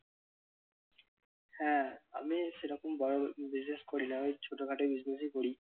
হ্যাঁ, আমি সেরকম বড়ো business করি না ওই ছোট খাটো business ই করি।